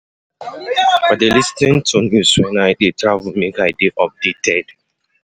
I dey lis ten to news wen I dey travel make I dey updated.